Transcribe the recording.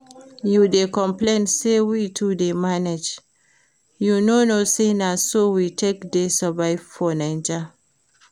You dey complain say we too dey manage, you no know say na so we take dey survive for Naija?